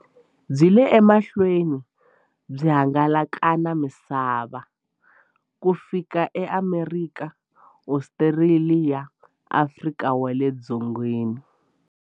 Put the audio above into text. Byi yile emahlweni byi hangalaka na misava ku fika eAmerika, Ostraliya na Afrika wale dzongeni.